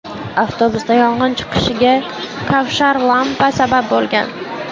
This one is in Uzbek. Avtobusda yong‘in chiqishiga kavshar lampa sabab bo‘lgan .